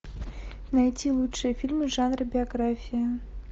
найти лучшие фильмы в жанре биография